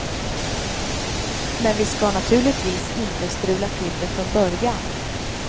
Men vi skall naturligtvis inte strula till det från början.